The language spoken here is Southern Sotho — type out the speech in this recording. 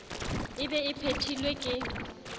e be e phethilwe ka